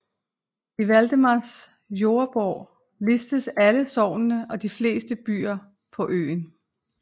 I Valdemars Jordebog listes alle sognene og de fleste byer på øen